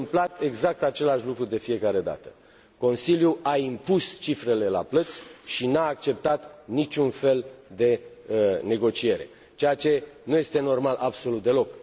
S a întâmplat exact același lucru de fiecare dată Consiliul a impus cifrele la plăți și nu a acceptat niciun fel de negociere, ceea ce nu este normal absolut deloc.